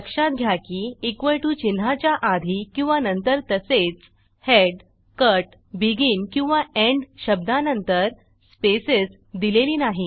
लक्षात घ्या की टीओ चिन्हाच्या आधी किंवा नंतर तसेचhead कट बेगिन किंवा एंड शब्दांनंतर स्पेस दिलेली नाही